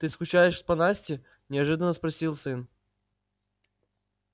ты скучаешь по насте неожиданно спросил сын